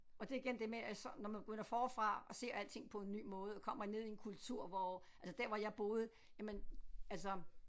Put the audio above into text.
Og det er igen det med at så når man begynder forfra og ser alting på en ny måde og kommer ned i en kultur hvor altså der hvor jeg boede jamen altså